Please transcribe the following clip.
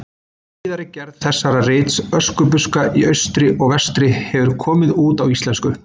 Síðari gerð þessa rits, Öskubuska í austri og vestri, hefur komið út á íslensku.